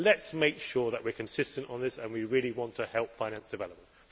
Let us make sure that we are consistent on this and we really want to help finance development.